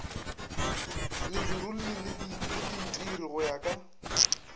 ledirolli le leitiri go ya